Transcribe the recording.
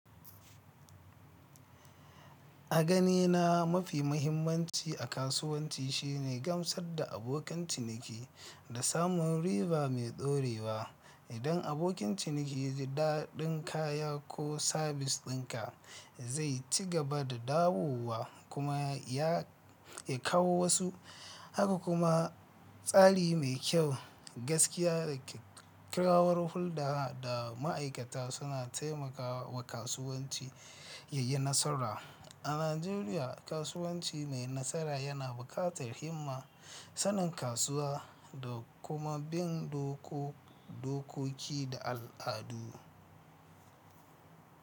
A ganina mafi muhimmanci a kasuwanci shine gamsar da abokan ciniki da samun riba mai dorewa. Idan abokin ciniki ya ji daɗin kaya ko sabis ɗinka, zai ci gaba da dawowa kuma ya kawo wasu. Haka kuma tsari mai kyau, gaskiya da kyakkyawar hulɗa da ma'aikata suna taimakawa kasuwanci ya yi nasara. A Najeriya, kasuwanci mai nasara yana buƙatar himma, sanin kasuwa da kuma bin dokoki da al'adu.